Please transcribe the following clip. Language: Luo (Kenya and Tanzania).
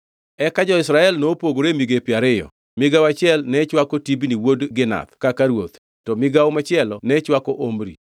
Eka jo-Israel nopogore e migepe ariyo; migawo achiel ne chwako Tibni wuod Ginath kaka ruoth, to migawo machielo ne chwako Omri.